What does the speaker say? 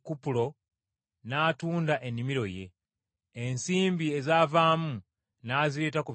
n’atunda ennimiro ye, ensimbi ezaavaamu n’azireeta ku bigere by’abatume.